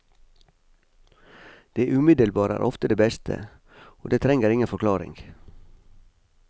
Det umiddelbare er ofte det beste, og det trenger ingen forklaring.